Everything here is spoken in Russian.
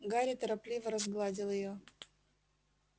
гарри торопливо разгладил её